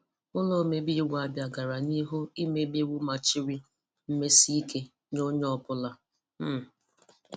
Ụlọ omebe iwu Abịa gara n'ihu imebe iwu machiri mmesike nye onye ọbụla. um